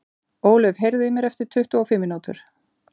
Ólöf, heyrðu í mér eftir tuttugu og fimm mínútur.